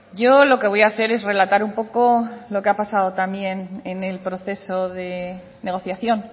yo lo que voy a hacer es relatar un poco lo que ha pasado también en el proceso de negociación